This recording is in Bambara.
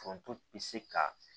Foronto bi se ka